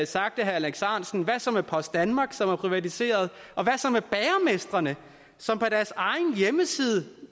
sagt af herre alex ahrendtsen hvad så med post danmark som er privatiseret og hvad så med bagermestrene som på deres egen hjemmeside